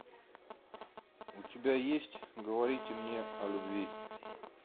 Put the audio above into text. у тебя есть говорите мне о любви